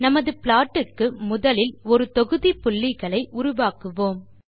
நமது ப்ளாட் க்கு முதலில் ஒரு தொகுதி புள்ளிகளை உருவாக்குவோம்